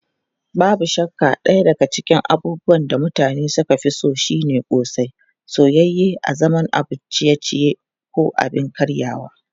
Babu shakka daya daga cikin abubuwan da mutane suka fi so shine ƙosai, soyayye a zaman abun ciye-ciye ko abin karyawa.